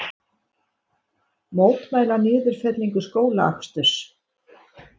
Mótmæla niðurfellingu skólaaksturs